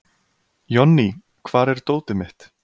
Jonný, hvar er dótið mitt?